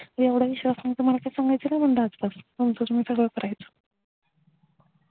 एवढा विश्वास नव्हता मला काय सांगायचं नाही म्हणल आज पासन तुमचं तुम्ही करायचं